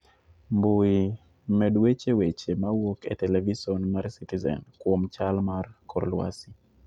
Mbui, med weche weche mawuok e televison mar Citizen kuon chal mar kor lwasi.